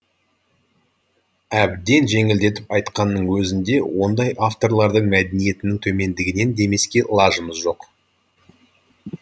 әбден жеңілдетіп айтқанның өзінде ондай авторлардың мәдениетінің төмендігінен демеске лажымыз жоқ